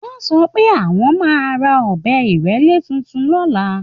Wọ́n sọ pé àwọn máa ra ọ̀bẹ ìrélé tuntun lọ́la